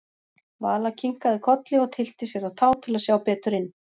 Vala kinkaði kolli og tyllti sér á tá til að sjá betur inn.